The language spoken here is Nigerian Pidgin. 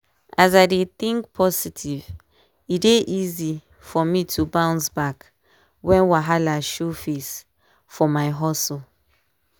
as i dey think positive e dey easy for me to bounce back when wahala show face for my hustle.